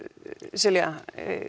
Silja